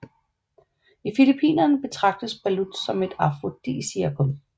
I Filippinerne betragtes balut som et afrodisiakum